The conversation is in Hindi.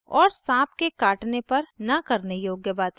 और साँप के काटने पर न करने योग्य bite